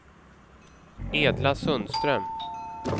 Edla Sundström